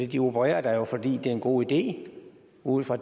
de opererer der jo fordi det en god idé ud fra